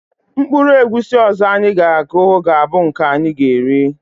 Mkpụrụ egwusi ọzọ anyị ga-aku ,ga - abụ nke anyị ga-eri